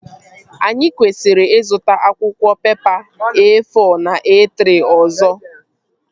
Anyị kwesịrị ịzụta akwụkwọ pepa E-fọ na E-trị ọzọ